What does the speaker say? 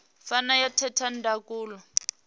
fana na ya theta ndangulo